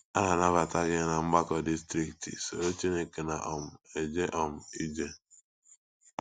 A na- anabata gị ná Mgbakọ Distrikti “ Soro Chineke Na um - eje um Ije ”